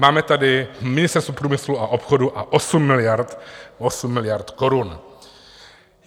Máme tady Ministerstvo průmyslu a obchodu a 8 miliard korun.